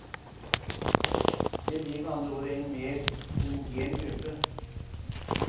Det blir med andre ord en mer homogen gruppe.